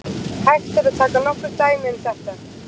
Hægt er að taka nokkur dæmi um þetta.